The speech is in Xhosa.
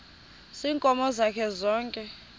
ziinkomo zakhe zonke